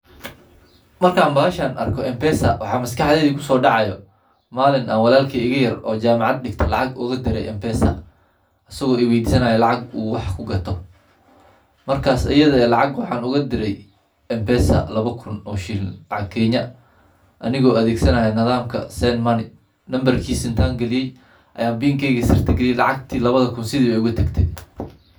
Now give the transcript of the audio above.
Markaan bahasha arko mpesa maxaa maskaxdeyda kusoodacayo malin aan walalkey igayar isago iweydisanayo lacag uu wax kugato, markaas iyadha eh lacag waxaan ugadire lawa kun oo shilin lacag kenya. aniga adheganaya nidhaamka send money numbrkisa intaa galiyey ayaa pinkega sirta galiyey lacagti lawadhikun sidhi ayeey ugutagtey.